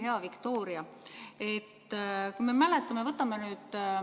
Hea Viktoria!